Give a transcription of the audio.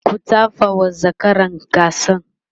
ku tafawa zakaran gasan!